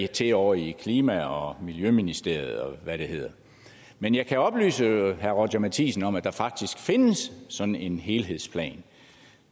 til ovre i klima og miljøministerierne og hvad det hedder men jeg kan oplyse herre roger courage matthisen om at der faktisk findes sådan en helhedsplan